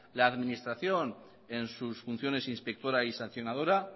la administración en sus funciones inspectora y sancionadora